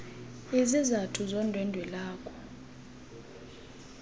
izizathu zondwendwe lwakho